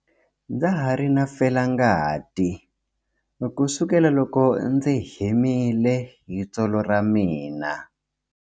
Ndza ha ri na felangati kusukela loko ndzi himile hi tsolo ra mina.